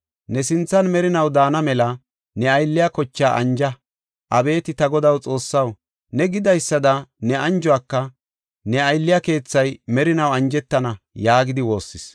Ne sinthan merinaw daana mela ne aylliya kochaa anja. Abeeti Ta Godaa Xoossaw ne gidaysada ne anjiko ne aylliya keethay merinaw anjetana” yaagidi woossis.